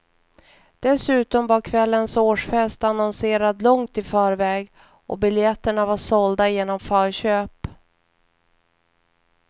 Dessutom var kvällens årsfest annonserad långt i förväg, och biljetterna var sålda genom förköp.